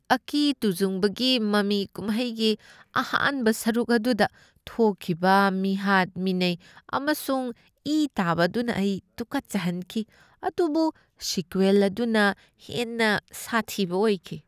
ꯑꯀꯤ ꯇꯨꯖꯨꯡꯕꯒꯤ ꯃꯃꯤ ꯀꯨꯝꯍꯩꯒꯤ ꯑꯍꯥꯟꯕ ꯁꯔꯨꯛ ꯑꯗꯨꯗ ꯊꯣꯛꯈꯤꯕ ꯃꯤꯍꯥꯠ ꯃꯤꯅꯩ ꯑꯃꯁꯨꯡ ꯏ ꯇꯥꯕ ꯑꯗꯨꯅ ꯑꯩ ꯇꯨꯀꯠꯆꯍꯟꯈꯤ, ꯑꯗꯨꯕꯨ ꯁꯤꯀ꯭ꯋꯦꯜ ꯑꯗꯨꯅ ꯍꯦꯟꯅ ꯁꯥꯊꯤꯕ ꯑꯣꯏꯈꯤ꯫